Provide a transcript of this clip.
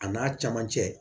A n'a cɛmancɛ